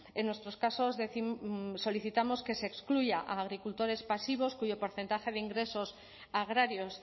en nuestros casos solicitamos que se excluya a agricultores pasivos cuyo porcentaje de ingresos agrarios